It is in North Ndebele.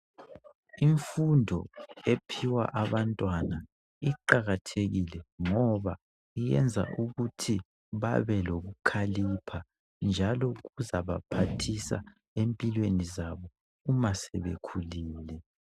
Imfundo ephiwa abantwana iqakathekile, ngoba yenza ukuthi babelokukhalipha njalo kuzabaphathisa empilweni zabo masebekhulile.